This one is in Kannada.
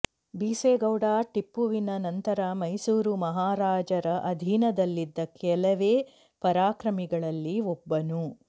ಬಿಸೇಗೌಡ ಟಿಪ್ಪುವಿನ ನಂತರ ಮೈಸೂರು ಮಹಾರಾಜರ ಅಧೀನದಲ್ಲಿದ್ದ ಕೆಲವೇ ಪರಾಕ್ರಮಿಗಳಲ್ಲಿ ಒಬ್ಬನು